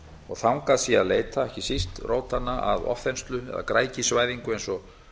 og þangað sé að leita ekki síst rótanna að ofþenslu eða græðgisvæðingu eins og